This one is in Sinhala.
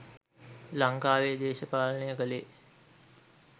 ලංකාවෙ දේශපාලනය කළේ